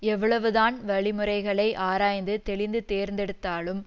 எவ்வளவுதான் வழிமுறைகளை ஆராய்ந்து தெளிந்து தேர்ந்தெடுத்தாலும்